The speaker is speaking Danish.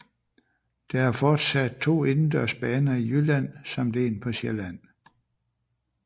Der er fortsat to indendørs baner i Jylland samt en på Sjælland